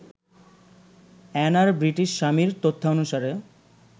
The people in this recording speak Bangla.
অ্যানার ব্রিটিশ স্বামীর তথ্যানুসারে